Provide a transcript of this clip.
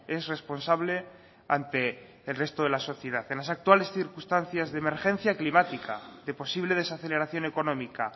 es responsable ante el resto de la sociedad en las actuales circunstancias de emergencia climática de posible desaceleración económica